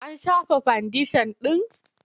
An shafa fandeshan ɗin?